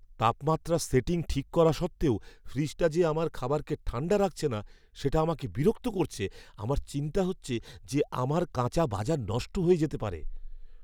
তাপমাত্রার সেটিং ঠিক করা সত্ত্বেও ফ্রিজটা যে আমার খাবারকে ঠাণ্ডা রাখছে না সেটা আমাকে বিরক্ত করছে, আমার চিন্তা হচ্ছে যে আমার কাঁচা বাজার নষ্ট হয়ে যেতে পারে।